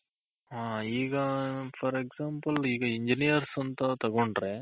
ಹ ಈಗ for Example ಈಗ Engineers ಅಂತ ತಗೊಂಡ್ರೆ